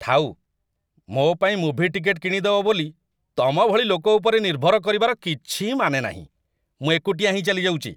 ଥାଉ! ମୋ' ପାଇଁ ମୁଭି ଟିକେଟ୍‌ କିଣିଦବ ବୋଲି ତମ ଭଳି ଲୋକ ଉପରେ ନିର୍ଭର କରିବାର କିଛି ମାନେ ନାହିଁ, ମୁଁ ଏକୁଟିଆ ହିଁ ଚାଲିଯାଉଚି ।